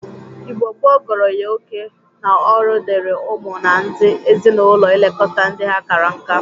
Igbo gboo gụrụ ya oke na ọrụ dịri ụmụ na ndị ezi-na-ụlọ ilekọta ndị ha kara nka.